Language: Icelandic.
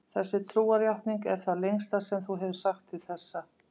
Þessi trúarjátning er það lengsta sem hún hefur sagt til þessa.